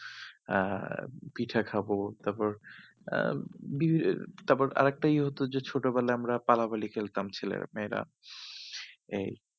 আহ পিঠা খাবো তারপর আহ তারপর আরেকটা ইয়ে হতো যে ছোটবেলায় আমরা পালাপালি খেলতাম ছেলেরা মেয়েরা এই